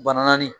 Bananin